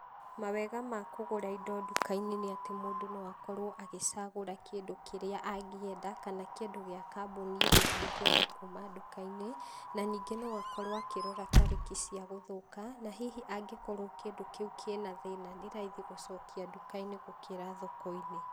Mawega ma kũgũra indo duka-inĩ nĩatĩ mũndũ noakorwo agĩcagũra kĩndũ kĩrĩa angĩenda kana kĩndũ gĩa kambũni ĩrĩa angĩenda kuuma dukainĩ. Nanyingĩ noakorwo akĩrwo akĩrora tarĩki cia gũthũka nahihi angĩkorwo kĩndũ kĩu kĩna thĩĩna nĩraithi gũcokia duka-inĩ gũkĩra thoko-inĩ.